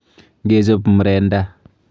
Ngechop mrenda.